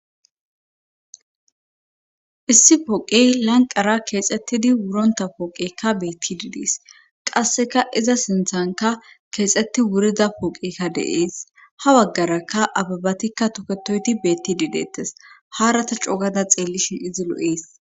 issi pooqey lanqara keexettidi wuronta pooqeykka beettid des qasseka iza sinthanka keexetti wurida pooqekka deees ha waggaraka ababatikka toketoyti beetti dideettes haarata coogada xeellishin izi lo7ees